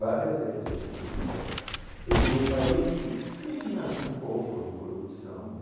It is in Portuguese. Várias vezes eu quis ir embora e ver um país que tinha um pouco de corrupção, né?